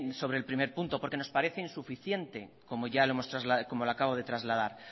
sobre el punto uno porque nos parece insuficiente como lo acabo de trasladar